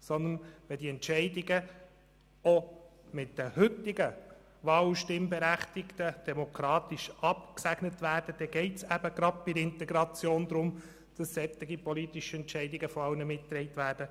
Sondern wenn diese Entscheide von den heute Wahl- und Stimmberechtigten abgesegnet werden, so geht es bei der Integration eben gerade darum, dass solche politischen Entscheide von allen mitgetragen werden.